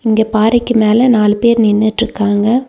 இங்க பாறைக்கு மேல நாலு பேர் நின்னுட்ருக்காங்க.